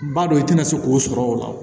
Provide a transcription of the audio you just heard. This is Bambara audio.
B'a dɔn i tɛna se k'o sɔrɔ o la